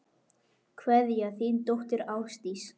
Kveðja, þín dóttir, Ásdís.